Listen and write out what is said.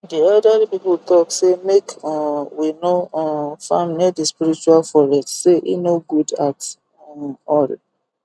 the elderly people talk say make um we no um farm near the spiritual forest say e no good at um all